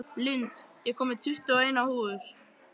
Lind, ég kom með tuttugu og eina húfur!